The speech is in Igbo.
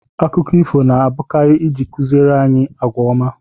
Akụkọ ifo na abụkarị ịji kụziere anyị àgwà ọma